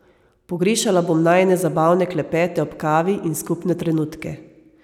Pogrešala bom najine zabavne klepete ob kavi in skupne trenutke.